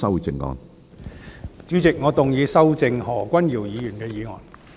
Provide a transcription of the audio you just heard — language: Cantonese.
主席，我動議修正何君堯議員的議案。